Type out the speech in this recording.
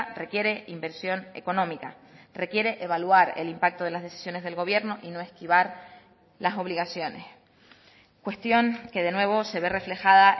requiere inversión económica requiere evaluar el impacto de las decisiones del gobierno y no esquivar las obligaciones cuestión que de nuevo se ve reflejada